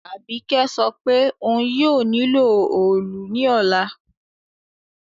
Àbíkẹ́ sopé oun yio nílò òòlù ní òla